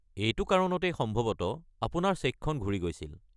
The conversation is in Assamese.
এইটো কাৰণতেই সম্ভৱতঃ আপোনাৰ চেকখন ঘূৰি গৈছিল।